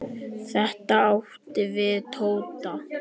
Þetta átti við Tóta.